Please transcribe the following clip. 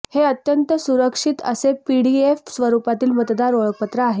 हे अत्यंत सुरक्षित असे पीडीएफ स्वरूपातील मतदार ओळखपत्र आहे